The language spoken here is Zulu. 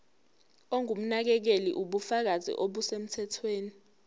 ongumnakekeli ubufakazi obusemthethweni